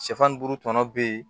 Sɛfan ni buru tɔnɔ be yen